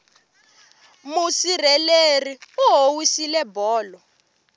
musirheleri u howisile bolo